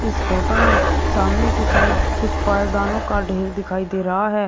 इस फोटो में सामने की साइड कुछ पैदानों का ढेर दिखाई दे रहा है।